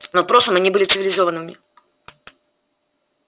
но в прошлом они были цивилизованными